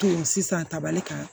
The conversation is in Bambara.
Sisan tabali kama